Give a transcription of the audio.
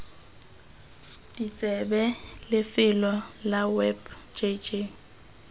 ditsebe lefelo la web jj